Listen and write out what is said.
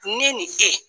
Ne ni e